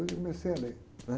eu li, comecei a ler, né?